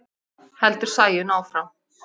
heldur Sæunn áfram.